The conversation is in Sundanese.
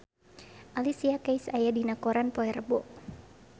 Alicia Keys aya dina koran poe Rebo